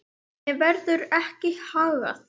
Henni verður ekki haggað.